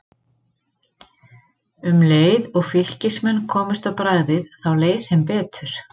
Um leið og Fylkismenn komust á bragðið þá leið þeim betur.